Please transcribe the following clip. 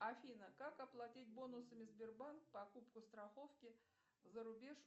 афина как оплатить бонусами сбербанк покупку страховки за рубеж